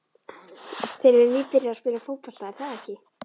Þeir eru nýbyrjaðir að spila fótbolta, er það ekki?